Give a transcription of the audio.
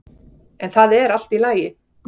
En það er allt í lagi.